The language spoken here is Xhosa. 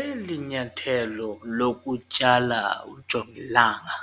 Eli nyathelo lokutyala ujongilanga